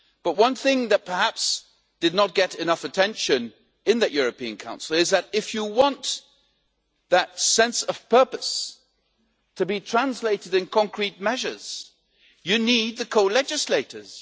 But one thing that perhaps did not get enough attention in that European Council is that if you want that sense of purpose to be translated into concrete measures, you need the co legislators.